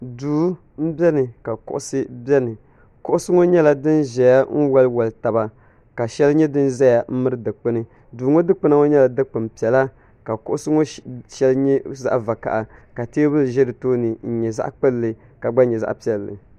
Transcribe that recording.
Duu n beni ka kuɣisi beni. Kuɣisi ŋɔ nyela din beni n wali wali taba ka sheli nye din ʒɛya m miri dikpuni. Duu ŋɔ dikpuna ŋɔ nyeli dikpun piɛla ka kuɣisi ŋɔ sheli nye zaɣ' vakaha ka teebuli ʒɛ di tooni n nyɛ zaɣ' kpulli ka gba nyɛ zaɣ' piɛlli